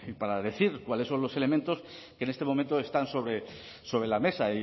para decir cuáles son los elementos que en este momento están sobre sobre la mesa